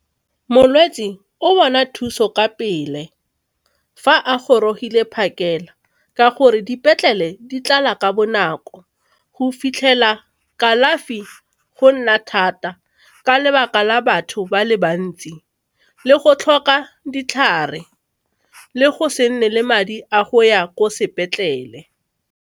Molwetse o bona thuso ka pele fa a gorogile phakela ka gore dipetlele di tlala ka bonako. Go fitlhela kalafi go nna thata ka lebaka la batho ba le bantsi le go tlhoka ditlhare le go se nne le madi a go ya ko sepetlele.